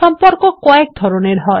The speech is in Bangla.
সম্পর্ক কয়েক ধরনের হয়